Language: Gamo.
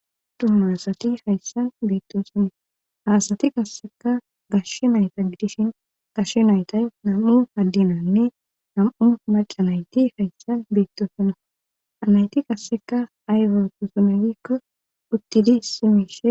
Oydu asati hayssan beettosona haasati kasseka gashshe nayta gidishin gashshe nayta nam7u addinanne nam7u maca nayti hayssan beettoosonna anayti kasseka aywa tusune gikko uttidi simiishe